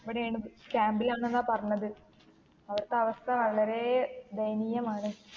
ഇവിടെണ് camp ൽ ഉണ്ടെന്ന പറഞ്ഞത് അവിടത്തെ അവസ്ഥ വളരെ ദയനീയമാണ്.